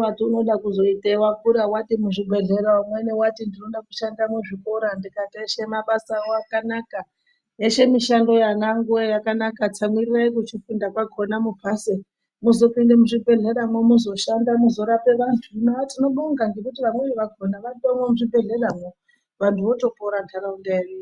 weiti unoda kuzoitei wakura wati muzvibhehleya umweni wati ndoda kushanda muzvikora tikati eshe mabasawo akanaka tikati ana angu tsamwirirai kuchikora kuchifunda kwakona mupase muzopinda muzvibhehleyamo mushande muzoshanda murape vantu tinobonga nekuti vamweni vakona vatorimo muzvibhehleyamo vantu votopona ndaraunda yedu.